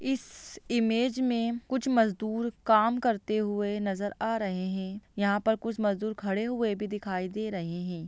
इस इमेज में कुछ मज़दूर काम करते हुए नज़र आ रहे हैं यहा पर कुछ मज़दूर खड़े हुए भी दिखाई दे रहे हैं।